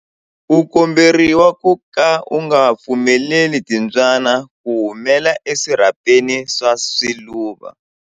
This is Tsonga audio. U komberiwa ku ka u nga pfumeleli timbyana ku humela eswirhapeni swa swiluva.